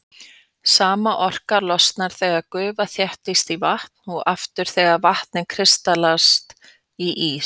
Sama orka losnar þegar gufa þéttist í vatn og aftur þegar vatnið kristallast í ís.